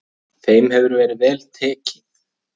Þeim hefur verið vel tekið.